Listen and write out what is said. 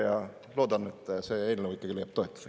Ja loodan, et see eelnõu ikkagi leiab toetust.